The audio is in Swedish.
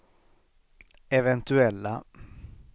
eventuella